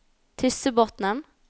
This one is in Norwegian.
Tyssebotnen